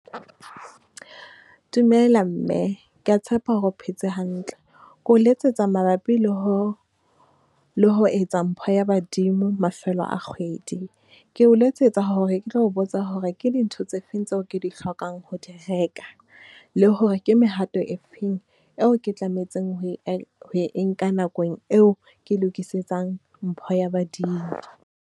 Dumela mme, ke ya tshepa hore o phetse hantle? Ke o letsetsa mabapi le ho, le ho etsa mpho ya badimo mafelo a kgwedi. Ke o letsetsa hore ke tlo ho botsa hore ke dintho tse feng tseo ke di hlokang ho di reka, le hore ke mehato e feng eo ke tlametseng ho e ho e nka nakong eo ke mpho ya badimo?